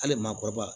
Hali maakɔrɔba